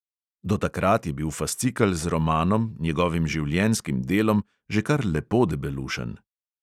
Do takrat je bil fascikel z romanom, njegovim življenjskim delom, že kar lepo debelušen.